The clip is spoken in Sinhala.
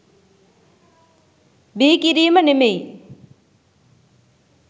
බිහිකිරීම නෙමෙයි.